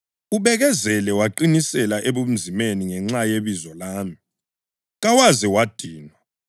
Ubekezele waqinisela ebunzimeni ngenxa yebizo lami, kawaze wadinwa.